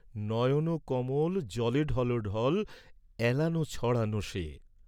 নয়ন কমল, জলে ঢল ঢল, এলানাে ছড়ান শে।